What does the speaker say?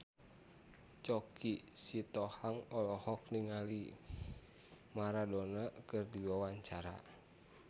Choky Sitohang olohok ningali Maradona keur diwawancara